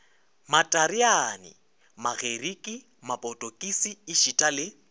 matareane magerike mapotokisi ešita le